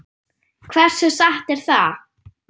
Hversu satt er það?